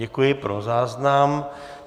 Děkuji, pro záznam.